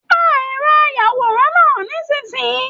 Pá ẹrọ ayàwòrán náà nisinyii!